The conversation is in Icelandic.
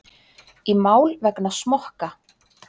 Í mál vegna smokka